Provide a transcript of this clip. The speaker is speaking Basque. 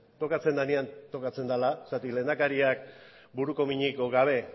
tokatzen denean tokatzen dela zergatik lehendakariak buruko minik edo gabe